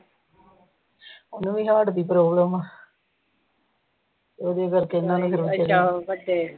ਉਹਨੂੰ ਹਾਰਟ ਦੀ ਪਰਾਬਲਮ ਆ ਉਹਦੇ ਕਰਕੇ ਇਨ੍ਹਾਂ ਨੇ